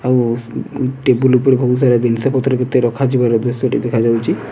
ଆଉ ଟେବୁଲ୍ ଉପରେ ବହୁତ୍ ସାର ଜିନିଷ ପତ୍ର ମଧ୍ୟ ରଖା ଯିବାର ଦୃଶ୍ୟ ଟି ଦେଖା ଯାଉଛି।